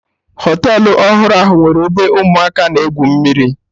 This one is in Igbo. Họtelụ ọhụrụ ahụ nwere ebe ụmụaka na egwu mmiri